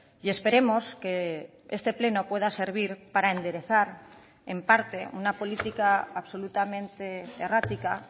y esperemos que este pleno pueda servir para enderezar en parte una política absolutamente errática